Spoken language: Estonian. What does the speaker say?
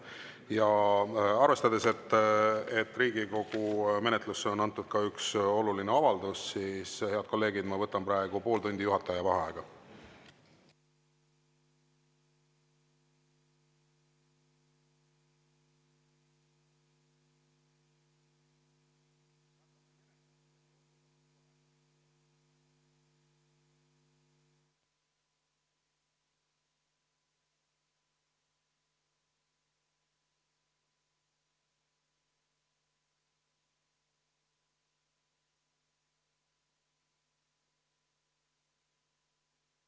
Aga arvestades, et Riigikogu menetlusse on antud ka üks oluline avaldus, ma, head kolleegid, võtan praegu pool tundi juhataja vaheaega.